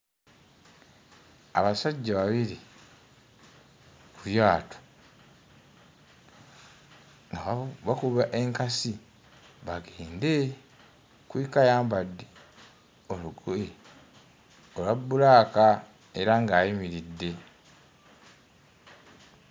Abasajja babiri ku lyato. Abamu bakuba enkasi bagende, kuliko ayambadde olugoye olwa bbulaaka era ng'ayimiridde.